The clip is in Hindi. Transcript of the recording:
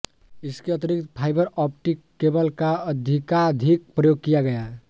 इसके अतिरिक्त फाइबर ऑप्टिक केबल का अधिकाधिक प्रयोग किया गया